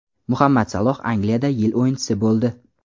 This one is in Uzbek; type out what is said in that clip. Muhammad Saloh Angliyada yil o‘yinchisi bo‘ldi.